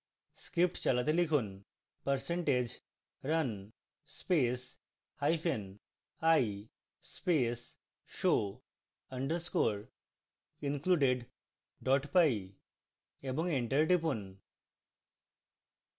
script চালাতে লিখুন: